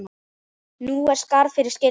Nú er skarð fyrir skildi.